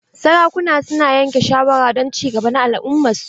Sarakuna su na yanke shawara don ci gaba na al'umman su.